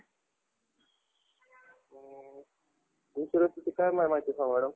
insurance विषयी काय माहिती सांगू madam?